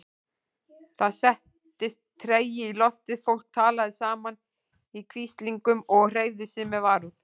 Það settist tregi í loftið, fólk talaði saman í hvíslingum og hreyfði sig með varúð.